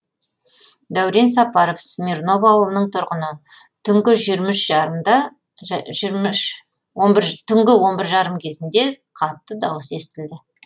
дәурен сапаров смирново ауылының тұрғыны түнгі он бір жарым кезінде қатты дауыс естілді